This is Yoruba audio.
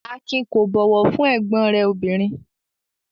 Akin kò bọ̀wọ̀ fún ẹ̀gbọ́n rẹ̀ obìnrin?